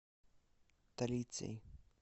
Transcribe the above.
талицей